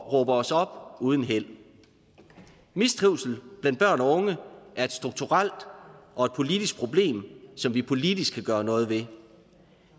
at råbe os op uden held mistrivsel blandt børn og unge er et strukturelt og et politisk problem som vi politisk kan gøre noget ved